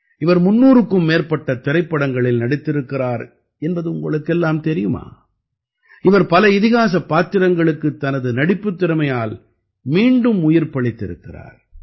இவர் 300க்கும் மேற்பட்ட திரைப்படங்களில் நடித்திருக்கிறார் என்பது உங்களுக்கெல்லாம் தெரியுமா இவர் பல இதிகாசப் பாத்திரங்களுக்குத் தனது நடிப்புத் திறமையால் மீண்டும் உயிர்ப்பளித்திருக்கிறார்